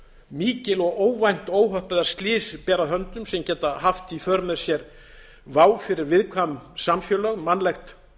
mikil og óvænt óhöpp eða slys ber að höndum á geta haft í för með sér vá fyrir viðkvæm samfélög mannlegt